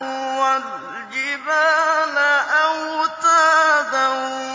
وَالْجِبَالَ أَوْتَادًا